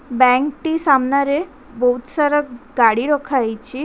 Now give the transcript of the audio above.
Bank ଟି ସାମ୍ନାରେ ବହୁତ ସାରା ଗାଡ଼ି ରଖା ହେଇଚି।